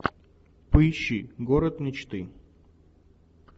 поищи город мечты